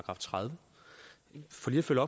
nu